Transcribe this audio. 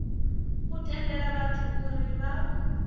u tendela vhathu uri vha